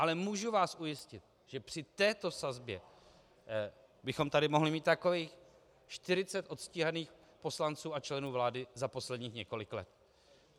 Ale můžu vás ujistit, že při této sazbě bychom tady mohli mít takových 40 odstíhaných poslanců a členů vlády za posledních několik let.